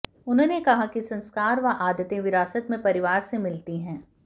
उन्होंने कहा कि संस्कार व आदतें विरासत में परिवार से मिलती है